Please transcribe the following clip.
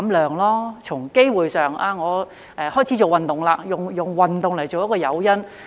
在吸食的機會上，他可以開始做運動，用運動為誘因。